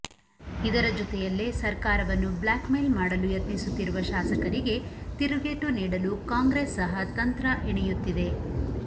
ಇದರ ಜೊತೆಯಲ್ಲೇ ಸರ್ಕಾರವನ್ನು ಬ್ಲಾಕ್ಮೇಲ್ ಮಾಡಲು ಯತ್ನಿಸುತ್ತಿರುವ ಶಾಸಕರಿಗೆ ತಿರುಗೇಟು ನೀಡಲು ಕಾಂಗ್ರೆಸ್ ಸಹ ತಂತ್ರ ಎಣೆಯುತ್ತಿದೆ